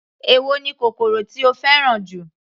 Èwo ni kòkòrò tí o fẹ́ràn jù.